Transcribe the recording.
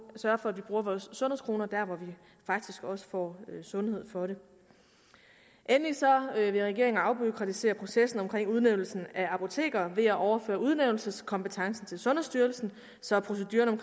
sørge for at vi bruger vores sundhedskroner der hvor vi faktisk også får sundhed for dem endelig vil regeringen afbureaukratisere processen for udnævnelse af apotekere ved at overføre udnævnelseskompetencen til sundhedsstyrelsen så proceduren